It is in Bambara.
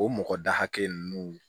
O mɔgɔ da hakɛ nunnu